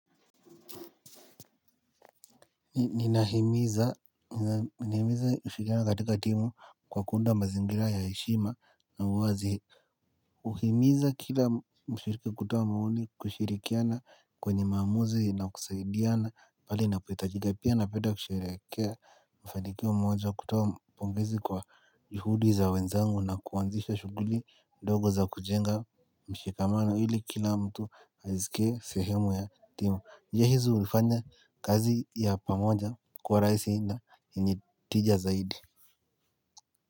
Ninahimiza, ninahimiza mshirikiano katika timu kwa kuunda mazingira ya heshima na uwazi. Uhimiza kila mshiriki kutoa maoni kushirikiana kwenye maamuzi na kusaidiana pale inapohitajika pia napenda kusherehekea mafanikio moja kutoa pongezi kwa juhudi za wenzangu na kuanzisha shughuli ndogo za kujenga mshikamano ili kila mtu ajiskie sehemu ya timu. Yehizu ulifanya kazi ya pamoja kwa rahisi na yenye tija zaidi.